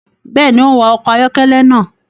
Béèni, o n wa ọkọ ayọkẹlẹ náà